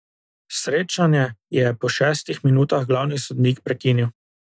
Srečanje je po šestih minutah glavni sodnik prekinil.